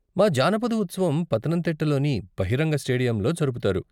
మా జానపద ఉత్సవం పతనంతిట్ట లోని బహిరంగ స్టేడియంలో జరుపుతారు.